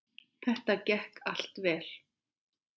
Það gekk allt vel.